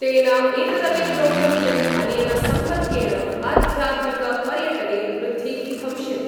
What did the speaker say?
तेन एतदपि प्रोक्तम् यत् अनेन सम्पर्केण आध्यात्मिक पर्यटने वृद्धिः भविष्यति।